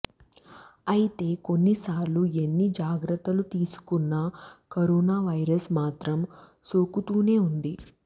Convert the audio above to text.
అయితే కొన్నిసార్లు ఎన్ని జాగ్రత్తలు తీసుకున్నా కరోనా వైరస్ మాత్రం సోకుతూనే ఉంది